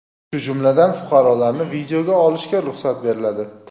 shu jumladan fuqarolarni videoga olishga ruxsat beriladi.